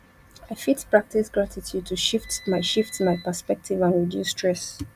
i fit practice gratitude to shift my shift my perspective and reduce stress